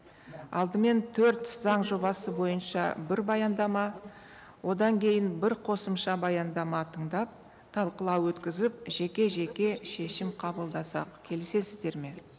алдымен төрт заң жобасы бойынша бір баяндама одан кейін бір қосымша баяндама тыңдап талқылау өткізіп жеке жеке шешім қабылдасақ келісесіздер ме